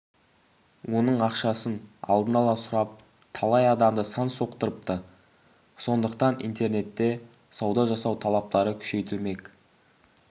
оның ақшасын алдын ала сұрап талай адамды сан соқтырыпты іондықтан интернетте сауда жасау талаптары күшейтілмек